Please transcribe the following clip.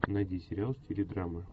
найди сериал в стиле драмы